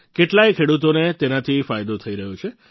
કેટલાય ખેડૂતોને તેનાથી ફાયદો થઈ રહ્યો છે